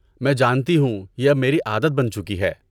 میں جانتی ہوں، یہ اب میری عادت بن چکی ہے۔